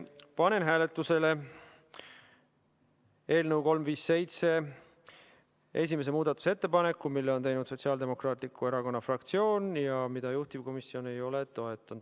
Panen hääletusele eelnõu 357 esimese muudatusettepaneku, mille on teinud Sotsiaaldemokraatliku Erakonna fraktsioon ja mida juhtivkomisjon ei ole toetanud.